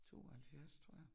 72, tror jeg